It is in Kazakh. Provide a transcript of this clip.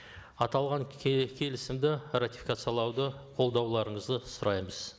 аталаған келісімді ратификациялауды қолдауларыңызды сұраймыз